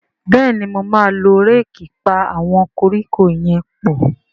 Béèni mọ má ló Réèkì pá àwọn koríko yén pọ.